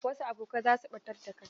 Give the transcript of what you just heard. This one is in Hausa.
Wasu abokai za su ɓatar da kai.